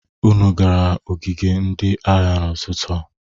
Unu gara ogige ndị agha n'ụtụtụ a?